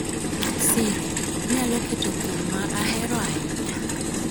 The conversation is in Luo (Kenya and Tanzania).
Siri, inyalo keto thum ma ahero ahinya